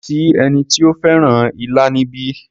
Kò sí ẹni tí ó fẹ́ràn ilá níbí.